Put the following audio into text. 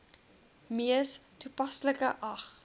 mees toepaslike ag